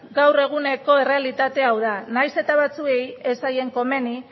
gaur eguneko errealitatea hau da nahiz eta batzuei ez zaie komeni